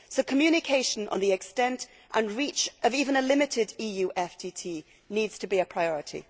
So communication on the extent and reach of even a limited EU FTT needs to be a priority.